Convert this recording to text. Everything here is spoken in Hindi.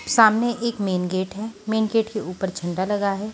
सामने एक मेन गेट है मेन गेट के ऊपर झंडा लगा है।